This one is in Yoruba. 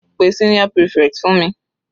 Pe senior prefect fún mi.